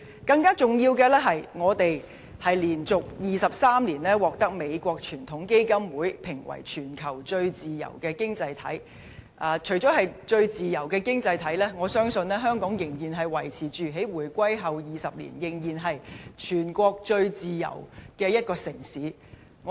更重要的是，香港連續23年獲美國傳統基金會評為全球最自由經濟體，除了是最自由經濟體，我相信香港在回歸後20年，仍然是全國最自由的一個城市。